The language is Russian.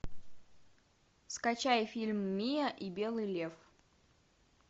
скачай фильм миа и белый лев